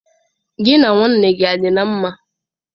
Gị na nwanne gị nwoke a dị na mma?